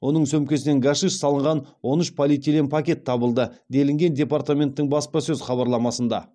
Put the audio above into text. оның сөмкесінен гашиш салынған он үш полиэтилен пакет табылды делінген департаменттің баспасөз хабарламасында